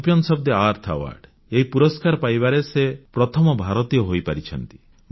champions of the Earth award ଏହି ପୁରସ୍କାର ପାଇବାରେ ସେ ପ୍ରଥମ ଭାରତୀୟ ହୋଇପାରିଛନ୍ତି